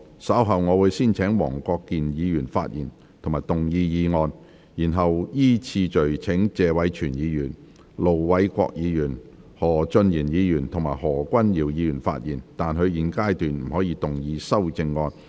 稍後我會先請黃國健議員發言及動議議案，然後依次序請謝偉銓議員、盧偉國議員、何俊賢議員及何君堯議員發言，但他們在現階段不可動議修正案。